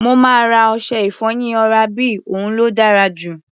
Mo máa ra ọṣẹ-ìfọyín oral B, òun ló dára jù.